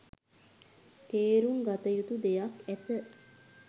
තේරුම් ගතයුතු දෙයක් ඇත